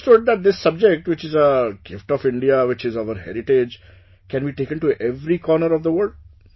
I understood that this subject, which is a gift of India, which is our heritage, can be taken to every corner of the world